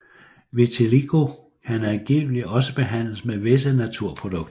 Vitiligo kan angiveligt også behandles med visse naturprodukter